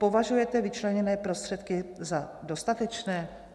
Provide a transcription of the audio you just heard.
Považujete vyčleněné prostředky za dostatečné?